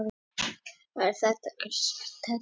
Þakka þér fyrir þetta Ársæll.